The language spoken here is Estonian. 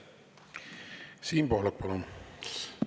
Siim Pohlak, palun!